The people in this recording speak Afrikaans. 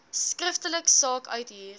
skriftelik saak uithuur